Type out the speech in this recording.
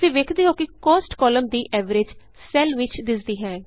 ਤੁਸੀਂ ਵੇਖਦੇ ਹੋ ਕਿ Costਕਾਲਮ ਦੀ ਐਵਰੇਜ ਸੈੱਲ ਵਿਚ ਦਿੱਸਦੀ ਹੈ